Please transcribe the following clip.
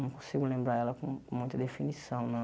Não consigo lembrar ela com com muita definição, não.